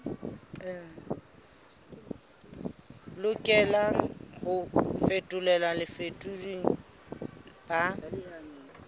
lokelang ho fetolelwa bafetoleding ba